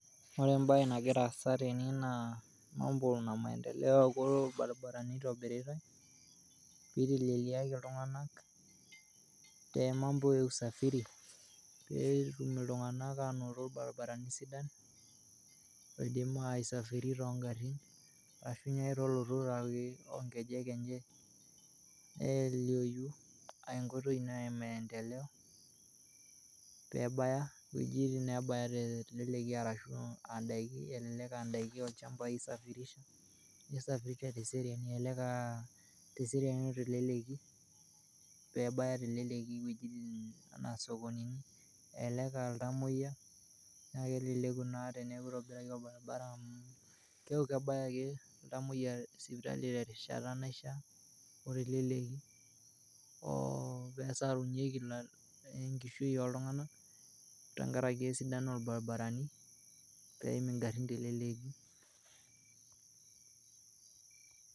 Ore embaye nagira aasa tene naa mambo na maendeleo kulo irbaribarani eitibiritai peiteleliaki ltunganak te mambo ya usafiri peeetum ltunganak aanoto irbaribarani sidan oiidim aisafiri too ing'arrin ashu tenilotu naake too nkejek enche neiteleleku aa enkoitoi ina emaendeleo peebaya wejitin naabayaa te nteleleki arashu aandaki elelek aandaki olchamba eisafirisha, neisafirisha te seriani oo tenteleki peebaya teleleki wejitin anaa sokonini, elelek aa ltomoiya, naa keleleku naa teneaku eitobiraki orbaribara amu kekau kebaya ake ltamoiya sipitali te rishata naishaa o teleleki peesarunyeki enkishui ooltungana tengaraki esidano olbaribarani peim ing'arrin tenteleleki.